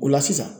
O la sisan